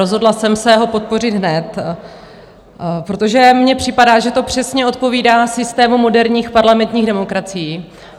Rozhodla jsem se ho podpořit hned, protože mi připadá, že to přesně odpovídá systému moderních parlamentních demokracií.